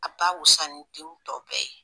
A b'a wusa ni den tɔw bɛɛ ye